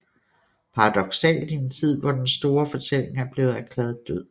Paradoksalt i en tid hvor den store fortælling er blevet erklæret død